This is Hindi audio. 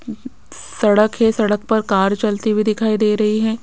सड़क है सड़क पर कार चलती हुई दिखाई दे रही है।